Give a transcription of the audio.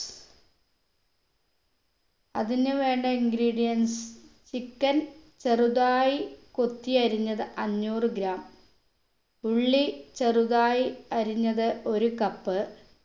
അതിന് വേണ്ട ingredients chicken ചെറുതായി കൊത്തിയരിഞ്ഞത് അഞ്ഞൂറ് gram ഉള്ളി ചെറുതായി അരിഞ്ഞത് ഒരു cup